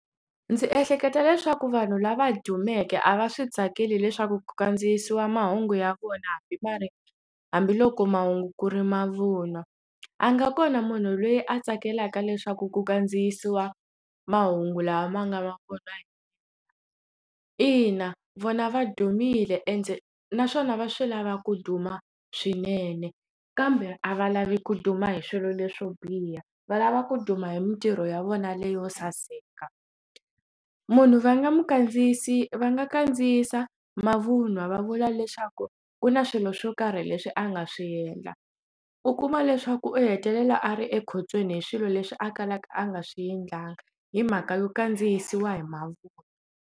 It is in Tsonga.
Ndzi ehleketa leswaku vanhu lava dumeke a va swi tsakeli leswaku ku kandziyisiwa mahungu ya vona hambi ma ri hambiloko mahungu ku ri mavunwa a nga kona munhu loyi a tsakelaka leswaku ku kandziyisiwa mahungu lawa ma nga vonaki ina vona va dumile ende naswona va swi lava ku duma swinene kambe a va lavi ku duma hi swilo leswo biha valava ku duma hi mintirho ya vona leyo saseka munhu va nga n'wi kandziyisi va nga kandziyisa mavunwa va vula leswaku ku na swilo swo karhi leswi a nga swi endla u kuma leswaku u hetelela a ri ekhotsweni hi swilo leswi a kalaka a nga swi endlangi hi mhaka yo kandziyisiwa hi mavunwa.